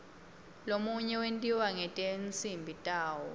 lomunye wentiwa ngetinsimbi tawo